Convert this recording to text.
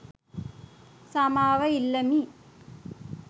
සමාව ඉල්ලමි.